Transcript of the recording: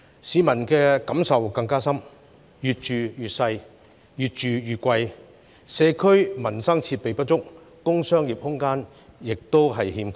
市民的感受更深，因為"越住越細、越住越貴"，社區民生設備不足，工商業空間亦短缺。